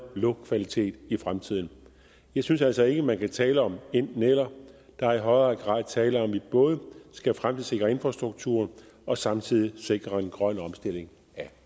luftkvalitet i fremtiden jeg synes altså ikke man kan tale om enten eller der er i højere grad tale om at vi både skal fremtidssikre infrastrukturen og samtidig sikre en grøn omstilling af